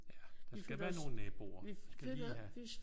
Ja. Der skal være nogle naboer. Man skal lige have